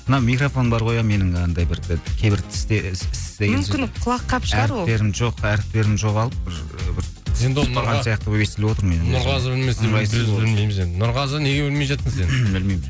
мына микрофон бар ғой ә менің андай бір кейбір